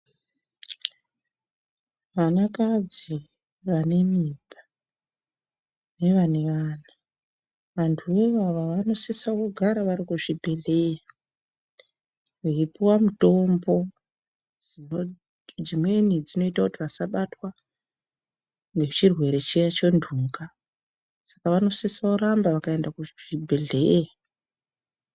Vanakadzi vanemimba nevane vana vantu ivava vanosisa kugara vari kuzvibhehleya veipuwa mitombodzimweni dzinoita kuti vasabatws ngechirwere chiya chenhunga Saka vanosisaromba vakaenda kuchibhehleya.